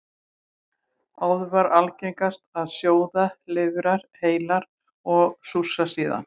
Áður var algengast að sjóða lifrar heilar og súrsa síðan.